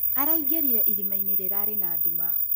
Araĩgĩrĩre ĩrĩmaĩnĩ rĩrarĩ na ndũma.